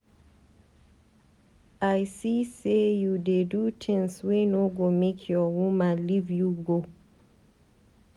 I see sey you dey do tins wey no go make your woman leave you go.